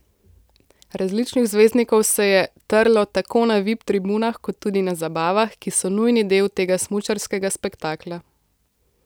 Različnih zvezdnikov se je trlo tako na vip tribunah kot tudi na zabavah, ki so nujni del tega smučarskega spektakla.